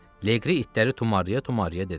Leqri itləri tumarlaya-tumarlaya dedi.